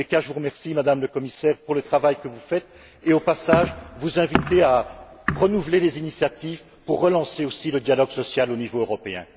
Je vous remercie, Madame la Commissaire, pour le travail que vous faites et, au passage, j'en profite pour vous inviter à renouveler les initiatives pour relancer le dialogue social au niveau européen.